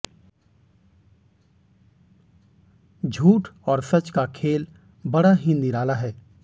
झूठ और सच का खेल बड़ा ही निराला है